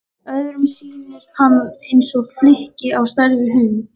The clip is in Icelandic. Öðrum sýndist hann eins og flykki á stærð við hund.